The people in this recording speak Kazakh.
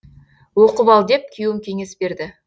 оқып ал деп күйеуім кеңес берді